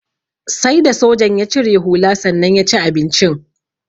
Sai da sojan ya cire hula sannan ya ci abincin.